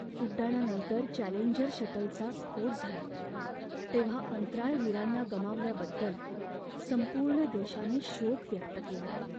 उड्डाणानंतर Challenger शटलचा स्फोट झाला तेव्हा अंतराळवीरांना गमावल्याबद्दल संपूर्ण देशाने शोक व्यक्त केला.